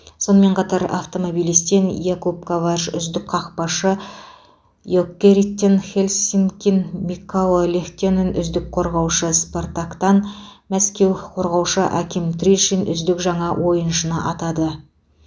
сонымен қатар автомобилистен якуб коварж үздік қақпашы йокериттен хельсинкин микко лехтонен үздік қорғаушы спартактан мәскеу қорғаушы аким тришин үздік жаңа ойыншы атады